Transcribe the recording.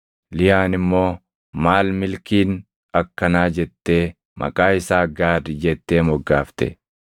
Liyaan immoo, “Maal milkiin akkanaa!” jettee maqaa isaa Gaad jettee moggaafte.